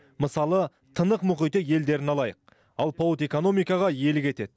мысалы тынық мұхиты елдерін алайық алпауыт экономикаға иелік етеді